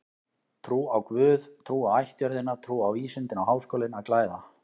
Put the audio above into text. Trú á guð, trú á ættjörðina, trú á vísindin á Háskólinn að glæða.